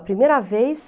A primeira vez...